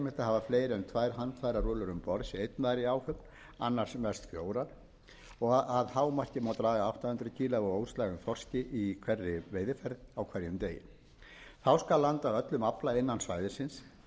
að hafa fleiri en tvær handfærarúllur um borð sé einn maður í áhöfn annars mest fjórar og að hámarki má draga átta hundruð kílógramm af óslægðum þorski í hverri veiðiferð á hverjum degi þá skal landa öllum afla innan svæðisins